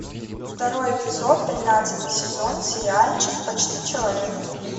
второй эпизод тринадцатый сезон сериальчик почти человек